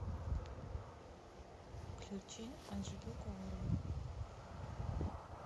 включи анжелику варум